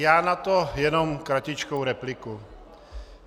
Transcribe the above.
Já na to jenom kratičkou repliku.